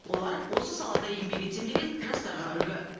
олар осы салада еңбек етсем деген жастарға үлгі